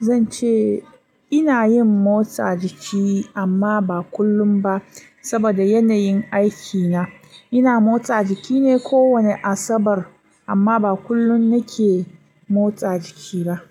zan ce ina yin motsa jiki amma ba kullum ba saboda yanayin aikina. Ina motsa jiki ne kowane Asabar amma ba kullum nake motsa jiki ba.